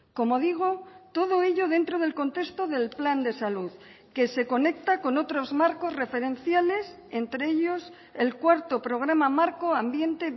como digo todo ello dentro del contexto del plan de salud que se conecta con otros marcos referenciales entre ellos el cuarto programa marco ambiente